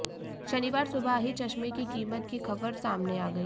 शनिवार सुबह ही चश्में की कीमत की खबर सामने आ गई